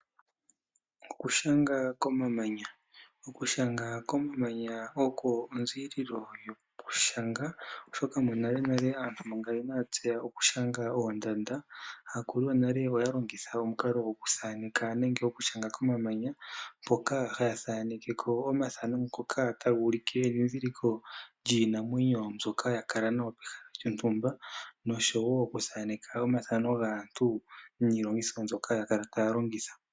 Okushanga komamanya, okushanga komamanya oko onzilolo yoku shanga. Oshoka monale nale aantu manga inaya tseya okushanga oondanda akulu yonale oya longitha omukalo gwoku thaneka nenge oku shanga komamanya mpoka haya thanekeko omathano ngoka taga ulike edhidhiliko lyiinamwenyo mbyoka hakala nayo pehala lyontumba noshowo oku thaneka omathano gaantu niilongitho mbyoka ya kala taya longitha.